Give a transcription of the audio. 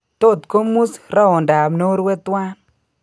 Tot komus ruondab norue twan